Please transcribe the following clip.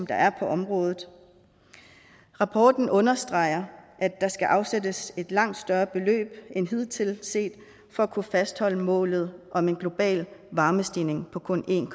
der er på området rapporten understreger at der skal afsættes et langt større beløb end hidtil set for at kunne fastholde målet om en global varmestigning på kun en